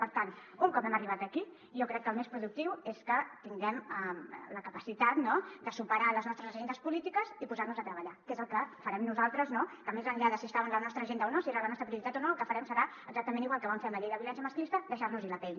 i per tant un cop hem arribat aquí jo crec que el més productiu és que tinguem la capacitat de superar les nostres agendes polítiques i posar nos a treballar que és el que farem nosaltres que més enllà de si estava en la nostra agenda o no si era la nostra prioritat o no el que farem serà exactament igual que vam fer amb la llei de violència masclista deixar nos hi la pell